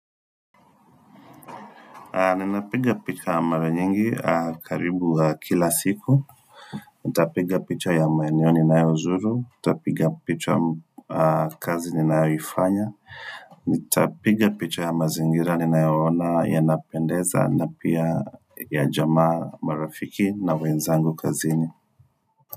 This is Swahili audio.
Ninapiga picha ya mara nyingi karibu kila siku. Nitapiga picha ya maeneo ninayozuru. Nitapiga picha ya kazi ninayoifanya. Nitapiga picha ya mazingira ninayoona ya lnapendeza na pia ya jamaa marafiki na wenzangu kazini.